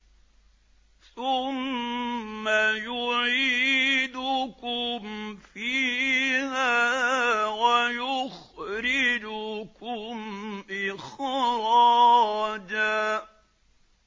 ثُمَّ يُعِيدُكُمْ فِيهَا وَيُخْرِجُكُمْ إِخْرَاجًا